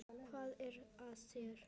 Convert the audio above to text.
Hvað er að þér?